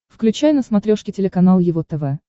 включай на смотрешке телеканал его тв